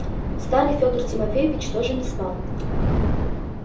старый федор тимофеич тоже не спал